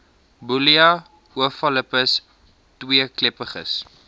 bullia ovalipes tweekleppiges